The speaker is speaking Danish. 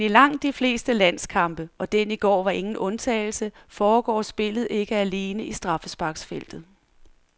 Men i langt de fleste landskampe, og den i går var ingen undtagelse, foregår spillet ikke alene i straffesparksfeltet.